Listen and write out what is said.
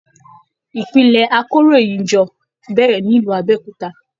Ìpìlẹ àkòróyinjọ́ bẹrẹ nílu Abéòkúta.